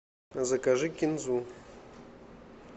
закажи кинзу